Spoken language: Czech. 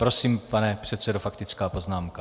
Prosím, pane předsedo, faktická poznámka.